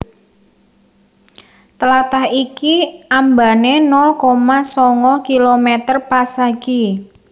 Tlatah iki ambané nol koma sanga kilometer pasagi